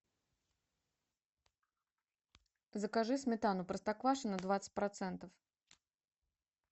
закажи сметану простоквашино двадцать процентов